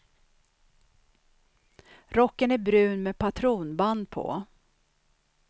Rocken är brun med patronband på.